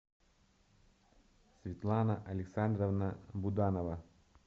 светлана александровна буданова